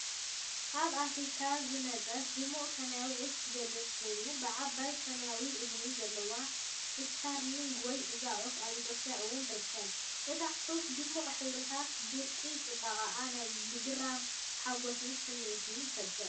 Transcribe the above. ካብ ኣፍሪቃ ዝመጸት ድሙቕ ሰማያዊት ዒፍ ዝገልጽ ኮይኑ፡ ብዓባይ ሰማያዊ እዝኒ ዘለዋ ስታርሊንግ ወይ... እዛ ዑፍ ኣብ ኢትዮጵያ እውን ትርከብ። እታ ዒፍ ድሙቕ ሕብርታታን ብርቂ ጽባቐኣን ናይ ምግራምን ሓጎስን ስምዒት ይፈጥር።